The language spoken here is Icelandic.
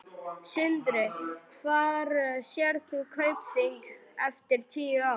Sindri: Hvar sérð þú Kaupþing eftir tíu ár?